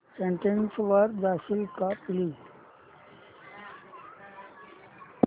settings वर जाशील का प्लीज